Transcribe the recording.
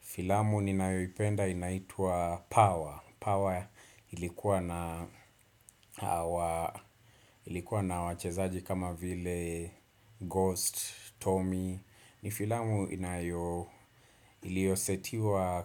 Filamu ninayoipenda inaitua Power. Power ilikuwa na wachezaji kama vile Ghost, Tommy. Ni filamu iliosetiwa